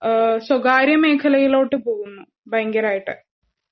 ഏഹ് സ്വകാര്യമേഖലയിലോട്ട് പോകുന്നു. പയങ്കരായിട്ട്.